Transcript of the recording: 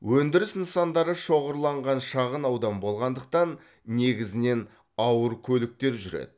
өндіріс нысандары шоғырланған шағын аудан болғандықтан негізінен ауыр көліктер жүреді